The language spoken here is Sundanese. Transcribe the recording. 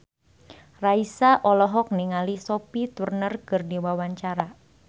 Raisa olohok ningali Sophie Turner keur diwawancara